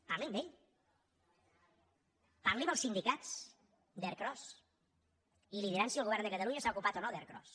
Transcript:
parli amb ell parli amb els sindicats d’ercros i li diran si el govern de catalunya s’ha ocupat o no d’ercros